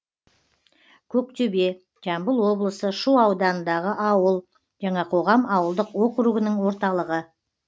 көктөбе жамбыл облысы шу ауданындағы ауыл жаңақоғам ауылдық округінің орталығы